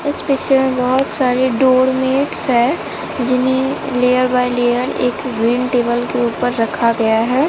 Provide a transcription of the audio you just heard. इस पिक्चर में बहोत सारी डोर मैट्स है जिन्हें लेयर बाय लेयर एक ग्रीन टेबल के ऊपर रखा गया है।